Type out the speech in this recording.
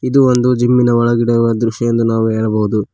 ಇದು ಒಂದು ಜಿಮ್ಮಿನ ಒಳಗಡೆ ಇರುವ ದೃಶ್ಯ ಎಂದು ನಾವು ಹೇಳಬಹುದು.